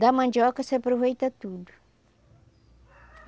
Da mandioca você aproveita tudo.